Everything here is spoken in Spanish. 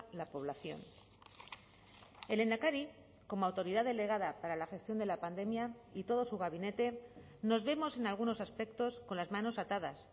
la población el lehendakari como autoridad delegada para la gestión de la pandemia y todo su gabinete nos vemos en algunos aspectos con las manos atadas